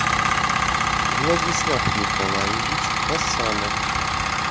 владислав николаевич хасанов